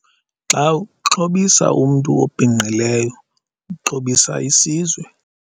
"Xa uxhobisa umntu obhinqileyo, uxhobisa isizwe."